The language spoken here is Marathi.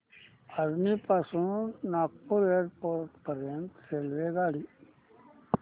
अजनी पासून नागपूर एअरपोर्ट पर्यंत रेल्वेगाडी